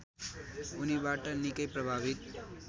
उनीबाट निकै प्रभावित